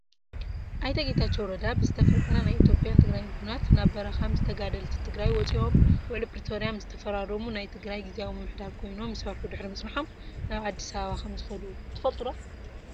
ኣይተ ጌታቸው ረዳ ብዝተፈጠረ ናይ ኢትዮጵያን ትግራይን ኩናት ናብ በረካ ምስ ተጋደልቲ ትግራይ ወፂኦም ውዕልፕሪቶራል ምስ ተፈራረሙ ናይ ትግራይ ግዝያዊ ምምሕዳር ኮይኖም ይሰርሑ ድሕሪ ምፅነሖም፣ ናብ ኣዲስ ኣበባ ከምዝከዱ ትፈልጡ ዶ ?